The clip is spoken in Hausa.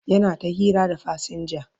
yana ta hira da fasinja